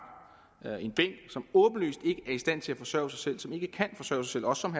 som åbenlyst ikke er i stand til at forsørge sig selv og som